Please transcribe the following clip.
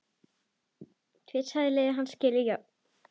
Tvisvar hafa liðin skilið jöfn.